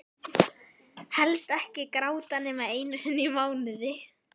Helst ekki gráta nema einu sinni í mánuði.